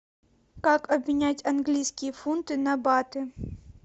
как обменять английские фунты на баты